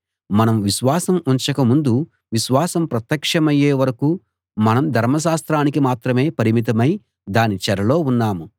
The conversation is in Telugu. మనం విశ్వాసం ఉంచక ముందు విశ్వాసం ప్రత్యక్షమయ్యే వరకూ మనం ధర్మశాస్త్రానికి మాత్రమే పరిమితమై దాని చెరలో ఉన్నాము